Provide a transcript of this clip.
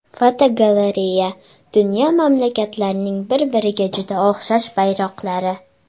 Fotogalereya: Dunyo mamlakatlarining bir-biriga juda o‘xshash bayroqlari.